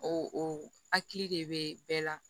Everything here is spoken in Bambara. O hakili de bɛ bɛɛ la